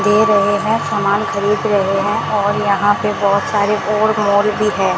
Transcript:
दे रहे हैं समान खरीद रहे हैं और यहां पे बहोत सारे और मॉल भी हैं।